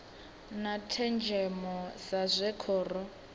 na thenzhemo sa zwe khoro